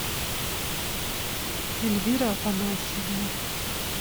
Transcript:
эльвира афанасьевна